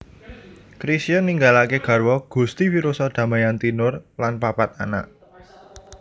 Chrisye ninggalaké garwa Gusti Firoza Damayanti Noor lan papat anak